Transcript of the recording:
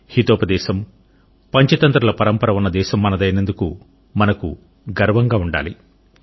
హితోపదేశం పంచతంత్రల పరంపర ఉన్న దేశం మనదైనందుకు మనకు గర్వంగా ఉండాలి